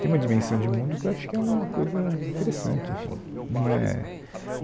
Tem uma dimensão de mundo que eu acho que é uma coisa interessante, enfim. Num é...